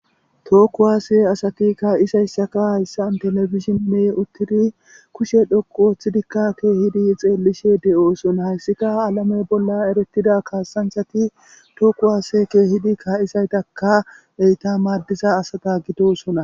Tookku waase asati kaa'isayssaka hayssan telefishinne uttiri kushe dhoqu oththidikka keehidi xeellishe de'osona hayssika alame bolla erettida kaasanthati tooku waase keehidi kaa'isaytaka eyta maaddiza asata gitosona.